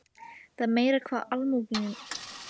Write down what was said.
Það er meira hvað almúginn er uppáþrengjandi nú til dags.